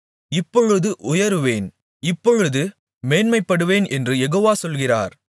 இப்பொழுது எழுந்தருளுவேன் இப்பொழுது உயருவேன் இப்பொழுது மேன்மைப்படுவேன் என்று யெகோவா சொல்கிறார்